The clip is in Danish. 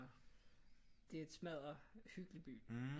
Det er en smadderhyggelig by